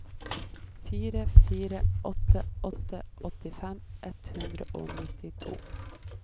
fire fire åtte åtte åttifem ett hundre og nittito